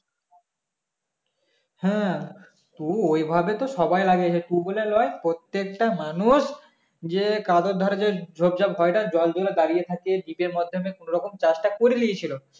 হ্যাঁ তো ওইভাবে তো সবাই লাগিয়াছে তুই বলে না প্রত্যেকটা মানুষ যে কাদের ধারে যে . জলগুলো দাঁড়িয়ে থাকে . মাধমে কোনো রকম চাষটা করে নিয়েছিল